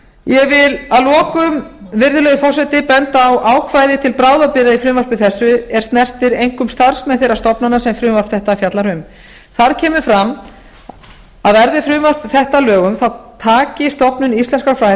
ég vil að lokum virðulegi forseti benda á ákvæði til bráðabirgða í frumvarpi þessu er snertir einkum starfsmenn þeirra stofnana sem frumvarp þetta fjallar um þar kemur fram að verði frumvarp þetta að lögum taki stofnun íslenskra fræða